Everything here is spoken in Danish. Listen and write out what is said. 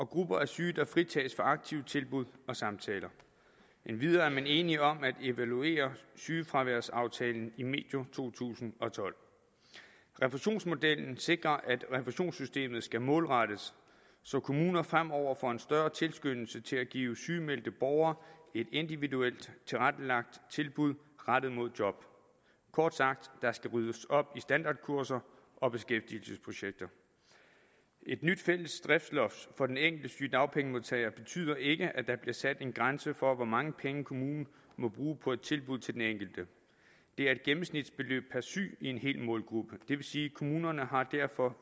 grupper af syge fritages for aktive tilbud og samtaler endvidere er man enige om at evaluere sygefraværsaftalen medio to tusind og tolv refusionsmodellen sikrer at refusionssystemet skal målrettes så kommuner fremover får en større tilskyndelse til at give sygemeldte borgere et individuelt tilrettelagt tilbud rettet mod job kort sagt der skal ryddes op i standardkurser og beskæftigelsesprojekter et nyt fælles driftsloft for den enkelte sygedagpengemodtager betyder ikke at der bliver sat en grænse for hvor mange penge kommunen må bruge på et tilbud til den enkelte det er et gennemsnitsbeløb per syg i en hel målgruppe og det vil sige at kommunerne derfor